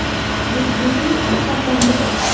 Juftlikning ikki farzandi bor.